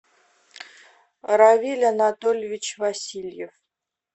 равиль анатольевич васильев